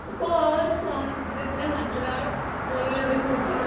അപ്പൊ അഹ് ഒരു സ്വാതന്ത്ര്യത്തിന് മറ്റൊരാൾ അല്ലെകിൽ ഒരു കൂട്ടം